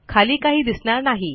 खाली काही दिसणार नाही